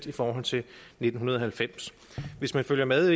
i forhold til nitten halvfems hvis man følger med